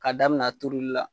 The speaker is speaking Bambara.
K'a daminɛ a turuli la.